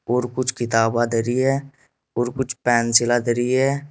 और कुछ किताबा धरी हैं और कुछ पेंसिल धरी हैं।